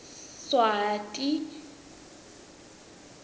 swati